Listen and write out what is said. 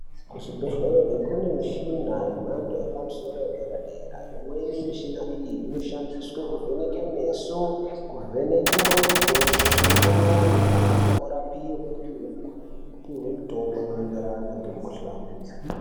Muzvibhedhlera kune michini yemhando yepamusoro yedera dera imweni yemuchina iyi inoshandiswa kuvhenaka meso kuvhenaka ndxondo kuvheneka mwoyo antu tmorapiwa opiwa mutombo unorape mikuhlani idzi.